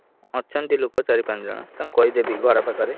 ଅଛନ୍ତି ଲୋକ ଚାରି ପାଞ୍ଚ ଜଣ ତାଙ୍କୁ କହିଦେବି ଘର ପାଖରେ।